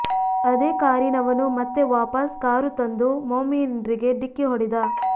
ಅದೇ ಕಾರಿನವನು ಮತ್ತೆ ವಾಪಸ್ ಕಾರು ತಂದು ಮೋಮಿನ್ರಿಗೆ ಢಿಕ್ಕಿ ಹೊಡೆದ